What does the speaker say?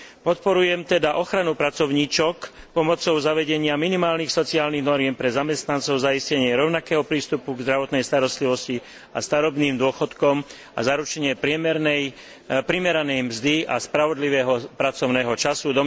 Podporujem teda ochranu pracovníčok pomocou zavedenia minimálnych sociálnych noriem pre zamestnancov, zaistenie rovnakého prístupu k zdravotnej starostlivosti a starobným dôchodkom a zaručenie primeranej mzdy a spravodlivého pracovného času.